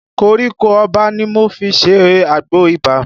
Koríko Ọba ni mo fi ṣe àgbò ibà